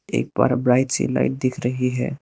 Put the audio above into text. एक बड़ा ब्राइट सी लाइट दिख रही है।